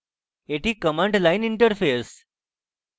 এটি command line interface